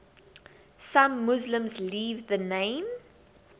some muslims leave the name